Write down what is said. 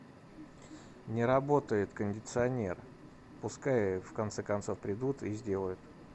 не работает кондиционер пускай в конце концов придут и сделают